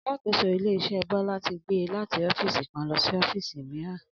Alákòóso ilé-is̩é̩ Bó̩lá ti gbé e láti ófíìsì kan lo̩ sí ó̩fíìsì mìíràn